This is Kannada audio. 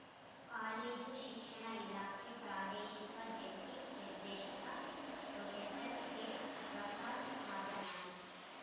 ಕಾಲೇಜು ಶಿಕ್ಷಣ ಇಲಾಖೆ ಪ್ರಾದೇಶಿಕ ಜಂಟಿ ನಿರ್ದೇಶಕ ಪ್ರೊಫೆಸರ್ ಕೆಪ್ರಸಾದ್‌ ಮಾತನಾಡಿ